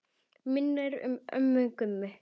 Minning um ömmu Gummu.